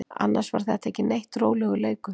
Annars var þetta ekki neitt, rólegur leikur.